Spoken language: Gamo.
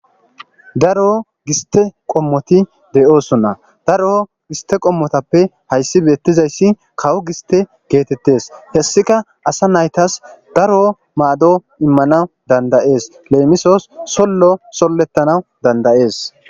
Daro giste qommoti de7osona daro gistte qommotappe hayssi beettizayssi kawo gistte geetettees hessika asa nayitas daro maado immanaas danda7ees leemissos sollo solletanaas danda7ees.